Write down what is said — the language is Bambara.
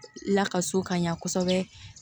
Lakaso ka ɲa kosɛbɛ